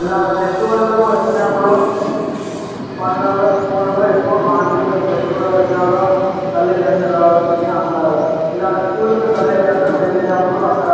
ఇలా ఫెస్టివల్ లు వచ్చినప్పుడు పండగలు స్కూల్ లు ఎక్కువ. ఫెస్టివల్ వచ్చినప్పుడు తల్లి తండ్రి రావాల్సింది అంటారు. ఇలాంటి స్కూల్ కి తల్లి తండ్రి వెళ్ళినప్పుడు అక్కడ